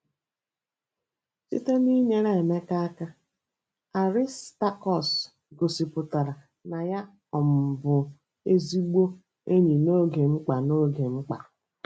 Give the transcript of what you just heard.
Site n'inyere Emeka aka, Aristakọs gosipụtara na ya um bụ ezigbo enyi n'oge mkpa. n'oge mkpa.